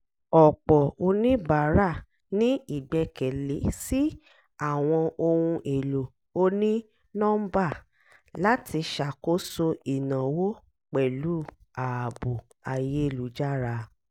ọ̀pọ̀ oníbàárà ní ìgbẹ́kẹ̀lé sí àwọn ohun èlò oní-nọ́mbà láti ṣàkóso ìnáwó pẹ̀lú ààbò ayélújára